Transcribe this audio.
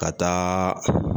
Ka taa